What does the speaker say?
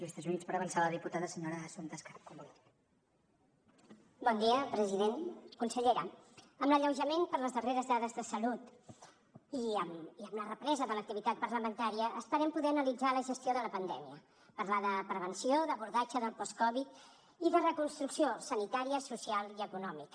consellera amb l’alleujament per les darreres dades de salut i amb la represa de l’activitat parlamentària esperem poder analitzar la gestió de la pandèmia parlar de prevenció d’abordatge del post covid i de reconstrucció sanitària social i econòmica